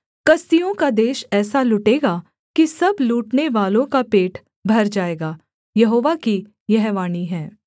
कसदियों का देश ऐसा लुटेगा कि सब लूटनेवालों का पेट भर जाएगा यहोवा की यह वाणी है